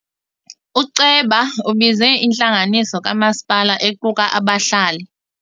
Uceba ubize intlanganiso kamasipala equka abahlali.